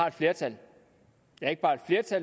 et flertal